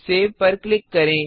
सेवसेवपर click करें